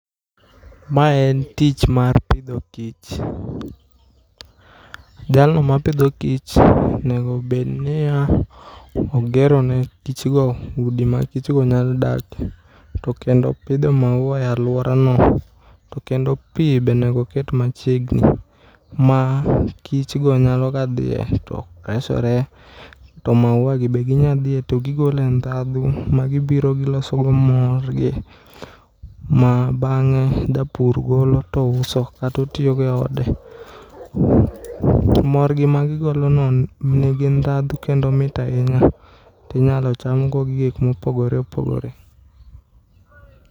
Mae en tich mar pidho kich. Jalno ma pidho kich onego bed niya, ogero ne kichgo udi ma kichgo nyalo dake. Kendo opitho maua e alwaronoTo kendo pi bonego oket machiegni ma kich go nyalo ga dhiye to resore. To maua gi be ginya dhiye to gigole ndhdhu ma gibiro giloso go mor gi, ma bang'e japur golo to uso katotiyogo e ode. Morgi ma gigolono nigi ndhadhu kendo mit ahinya, tinyalo cham go gik mopogore opogore.